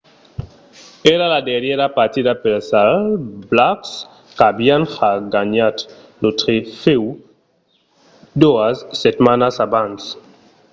èra la darrièra partida pels all blacks qu'avián ja ganhat lo trofèu doas setmanas abans